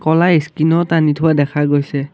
ক'লা স্ক্ৰীনত আনি থোৱা দেখা গৈছে।